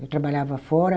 Eu trabalhava fora.